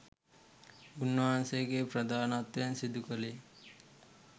උන්වහන්සේගේ ප්‍රධානත්වයෙන් සිදු කළේ.